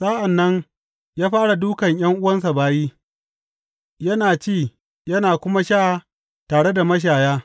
Sa’an nan yă fara dūkan ’yan’uwansa bayi, yana ci yana kuma sha tare da mashaya.